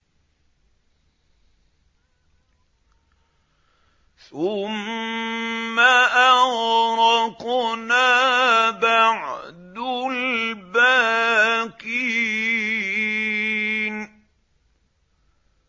ثُمَّ أَغْرَقْنَا بَعْدُ الْبَاقِينَ